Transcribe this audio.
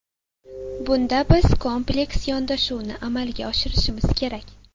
Bunda biz kompleks yondashuvni amalga oshirishimiz kerak.